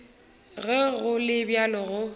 ge go le bjalo go